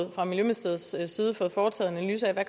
jo fra miljøministeriets side fået foretaget en analyse af